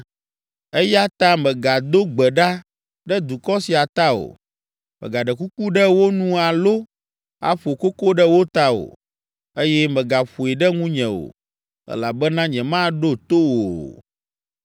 “Eya ta, mègado gbe ɖa ɖe dukɔ sia ta o. Mègaɖe kuku ɖe wo nu alo aƒo koko ɖe wo ta o, eye mègaƒoe ɖe nunye o, elabena nyemaɖo to wò o.